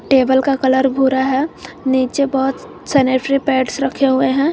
Table का colour भूरा है नीचे बहोत सैनिटरी पैड्स रखे हुए हैं।